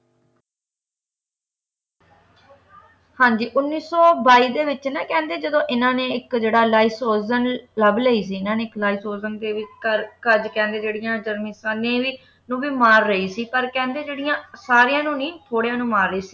ਹਾਂ ਜੀ ਉੱਨੀ ਸੌ ਬਾਈ ਦੇ ਵਿੱਚ ਨਾ ਕਹਿੰਦੇ ਜਦੋਂ ਇਨ੍ਹਾਂ ਨੇ ਇੱਕ ਜਿਹੜਾ ਲਾਈਸੋਜ਼ਨ ਲੱਭ ਲਈ ਸੀ ਇਨ੍ਹਾਂ ਨੇ ਇੱਕ ਲਾਈਸੋਜ਼ਨ ਕਰ ਘਰ ਕਹਿੰਦੇ ਜਰਮਿਸਾਂ ਨੂੰ ਵੀ ਮਾਰ ਰਹੀ ਸੀ ਪਰ ਕਹਿੰਦੇ ਜਿਹਡਿਆਂ ਸਾਰੀਆਂ ਨੂੰ ਨਹੀਂ ਥੋੜ੍ਹਿਆਂ ਨੂੰ ਮਾਰ ਰਹੀ ਸੀ